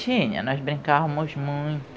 Tinha, nós brincávamos muito.